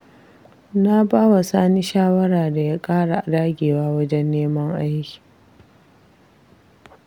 Na bawa Sani shawara da ya ƙara dagewa wajen neman aiki.